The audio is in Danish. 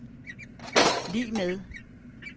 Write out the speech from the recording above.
lig med